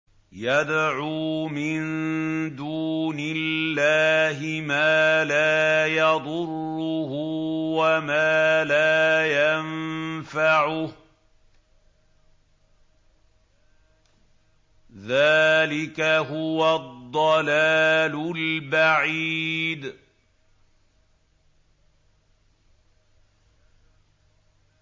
يَدْعُو مِن دُونِ اللَّهِ مَا لَا يَضُرُّهُ وَمَا لَا يَنفَعُهُ ۚ ذَٰلِكَ هُوَ الضَّلَالُ الْبَعِيدُ